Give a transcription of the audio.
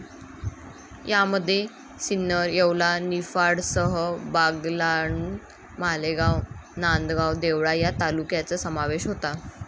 यामध्ये सिन्नर, येवला, निफाडसह बागलाण, मालेगाव, नांदगाव, देवळा या तालुक्यांचा समावेश होता.